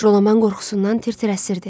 Jalaman qorxusundan tir-tir əsirdi.